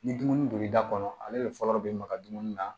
Ni dumuni don l'i da kɔnɔ ale de fɔlɔ be maga dumuni na